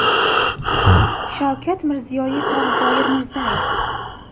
Shavkat Mirziyoyev va Zoyir Mirzayev.